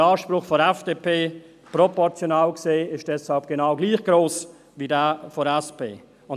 Der Anspruch der FDP ist deshalb, proportional gesehen, genau gleich gross wie jener der SP.